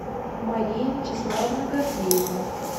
мария вячеславовна гордеева